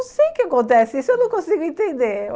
Eu não sei o que acontece, isso eu não consigo entender.